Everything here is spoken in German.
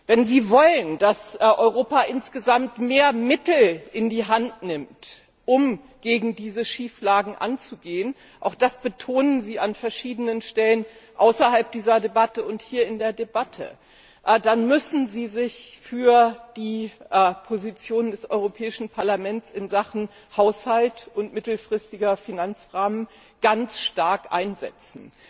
Wenn Sie wollen, dass Europa insgesamt mehr Mittel in die Hand nimmt, um gegen diese Schieflagen anzugehen auch das betonen Sie an verschiedenen Stellen außerhalb dieser Debatte und auch hier in der Debatte dann müssen Sie sich für die Position des Europäischen Parlaments in Sachen Haushalt und Mittelfristiger Finanzrahmen ganz stark einsetzen.